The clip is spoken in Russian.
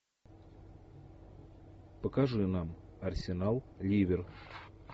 покажи нам арсенал ливер